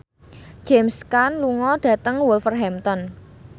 James Caan lunga dhateng Wolverhampton